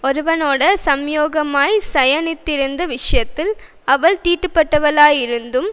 ஒருவனோடே சம்யோகமாய்ச் சயனித்திருந்த விஷயத்தில் அவள் தீட்டுப்பட்டவளாயிருந்தும்